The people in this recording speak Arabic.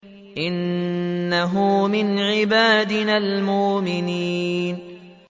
إِنَّهُ مِنْ عِبَادِنَا الْمُؤْمِنِينَ